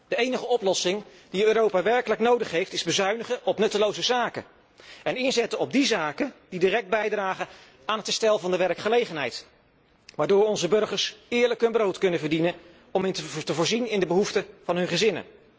De enige oplossing die Europa werkelijk nodig is, zijn bezuinigen op nutteloze zaken en inzetten op die zaken die direct bijdragen aan herstel van de werkgelegenheid, waardoor onze burgers eerlijk hun brood kunnen verdienen om te voorzien in de behoeften van hun gezin.